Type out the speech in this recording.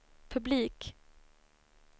publik